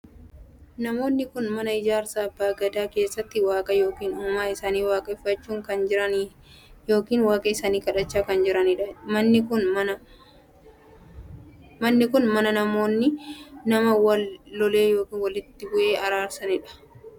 Namoonni kun mana ijaarsa abbaa Gadaan keessatti waaqa ykn uumaa isaa waaqeffachaa kan jiran ykn waaqa isaanii kadhachaa kan jiraniidha. manni kun bakka namoonni nama wal lole ykn walitti buhe wal araarsuudha. Manni abbaa Gadaan kun halluu sadiin dibamee kan jirudha.